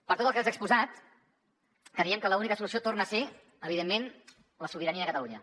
per tot el que els he exposat creiem que l’única solució torna a ser evidentment la sobirania de catalunya